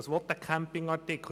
Was will der Camping-Artikel?